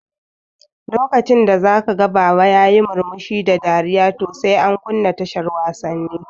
Lokacin da zaka ga baba yayi murmushi da dariya to sai an kunna tashar wasanni